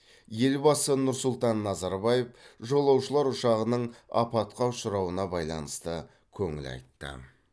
елбасы нұр сұлтан назарбаев жолаушылар ұшағының апатқа ұшырауына байланысты көңіл айтты